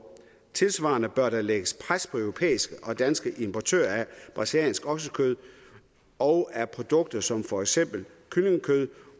tilsvarende bør der lægges pres på europæiske og danske importører af brasiliansk oksekød og af produkter som for eksempel kyllingekød